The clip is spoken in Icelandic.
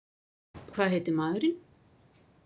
Hvað heitir maðurinn?